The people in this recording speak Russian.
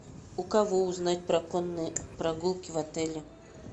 у кого узнать про конные прогулки в отеле